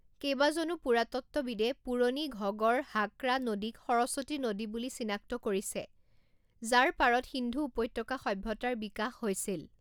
কেইবাজনো পুৰাতত্ত্ববিদে পুৰণি ঘগড় হাকৰা নদীক সৰস্বতী নদী বুলি চিনাক্ত কৰিছে যাৰ পাৰত সিন্ধু উপত্যকা সভ্যতাৰ বিকাশ হৈছিল।